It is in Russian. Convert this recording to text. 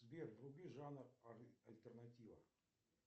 сбер вруби жанр альтернатива